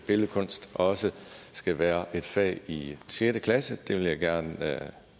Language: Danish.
billedkunst også skal være et fag i sjette klasse det vil jeg gerne